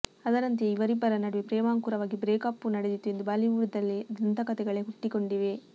ಅದರಂತೆಯೇ ಇವರಿಬ್ಬರ ನಡುವೆ ಪ್ರೇಮಾಂಕುರವಾಗಿ ಬ್ರೇಕಪ್ಪೂ ನಡೆದಿತ್ತು ಎಂದು ಬಾಲಿವುಡ್ ನಲ್ಲಿ ದಂತಕತೆಗಳೇ ಹುಟ್ಟಿಕೊಂಡಿವೆ